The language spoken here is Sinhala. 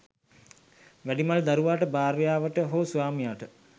වැඩිමල් දරුවාට භාර්යාවට හෝ ස්වාමියාට